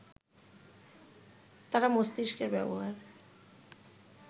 তারা মস্তিষ্কের ব্যবহার